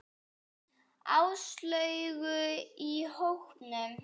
Áslaugu í hópnum.